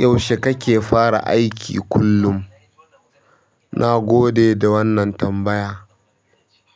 Yaushe kake fara aiki kullum? Na gode da wannan tambaya.